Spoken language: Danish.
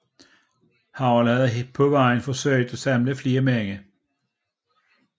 Harold havde på vejen forsøgt at samle flere mænd